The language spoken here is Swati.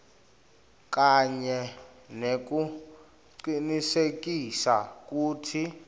kanye nekucinisekisa kutsi